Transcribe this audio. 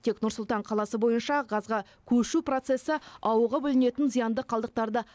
тек нұр сұлтан қаласы бойынша газға көшу процессі ауаға бөлінетін зиянды қалдықтарды